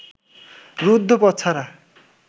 রুদ্ধ পথ ছাড়া